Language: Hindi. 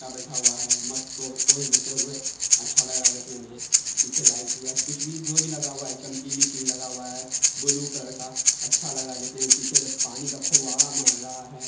क्या बैठा हुआ है मस्त पोज देते हुए अच्छा लग रहा है देखने में| पीछे लाइट या कुछ भी जो भी लगा हुआ है चमकीली चीज लगा हुआ है ब्लू कलर का अच्छा लग रहा है देखने में पीछे पानी का फुब्बारा मार रहा है।